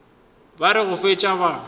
ba re go fetša ba